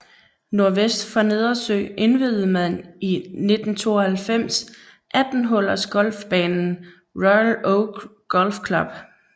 Nordvest for Nedersø indviede man i 1992 18 hullers golfbanen Royal Oak Golf Club